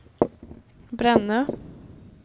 Brännö